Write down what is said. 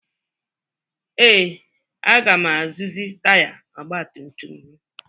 Ee, aga m arụzi taya ọgba tum tum m